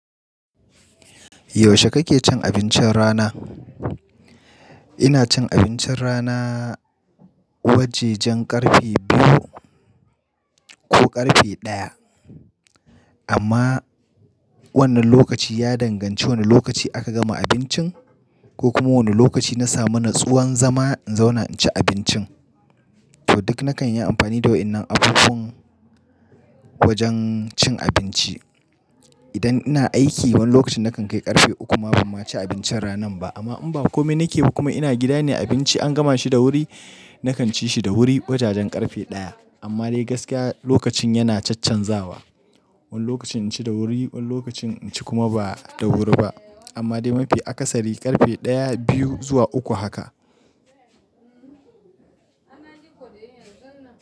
Yaushe kake cin abincin rana? Ina cin abincin rana wajajen karfe biyu ko karfe ɗaya amma wannan lokaci ya danganci wane lokaci aka gama abincin ko kuma wane lokaci na samu natsuwan zama in zauna in ci abincin. To duk nakan yi amfani da waɗannan abubuwan wajen cin abinci. Idan ina aiki, wani lokacin nakan kai karfe uku ma ba ma ci abincin rana ba. Amma in ba kome nake yi kuma ina gida ne, abinci an gama shi da wuri, nakan ci shi da wuri wajajen karfe ɗaya. Amma dai gaskiya lokacin yana caccanzawa. Wani lokacin in ci da wuri, wani lokacin in ci kuma ba da wuri ba. Amma dai mafi akasari karfe ɗaya, biyu zuwa uku haka.